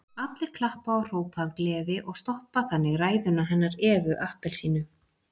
Allir klappa og hrópa af gleði og stoppa þannig ræðuna hennar Evu appelsínu.